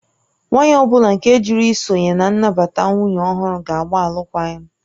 Nwanyị ọ bụla nke jụrụ isonye na nnabata nwunye ọhụrụ ga-agba alụkwaghịm